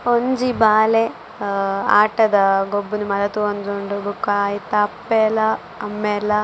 ಒಂಜಿ ಬಾಲೆ ಆ ಆಟದ ಗೊಬ್ಬುದು ಮಾತ ತೋವೊಂದುಂಡು ಬೊಕ ಐತ ಅಪ್ಪೆಲ ಅಮ್ಮೆಲ.